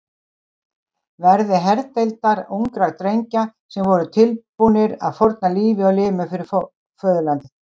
verði herdeildar ungra drengja sem voru tilbúnir að fórna lífi og limum fyrir föðurlandið.